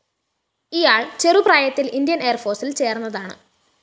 ഇയാള്‍ ചെറുപ്രായത്തില്‍ ഇന്ത്യന്‍ എയര്‍ഫോഴ്‌സില്‍ ചേര്‍ന്നതാണ്